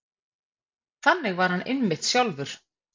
Þannig var hann einmitt sjálfur.